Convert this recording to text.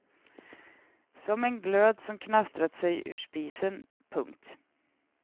Som en glöd som knastrat sig ur spisen. punkt